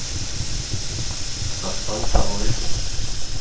Að standa á öndinni